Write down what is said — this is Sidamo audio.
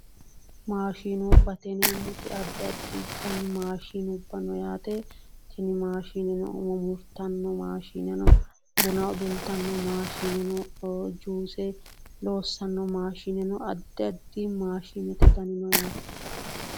Maashinubbate yineemmoti addi addi maashine no umo murtanno maashshine no buna udultanno maashine no juse loossanno maashine no duucha maashinete Dani no yaate